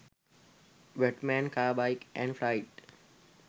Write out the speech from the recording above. batman car, bike and flight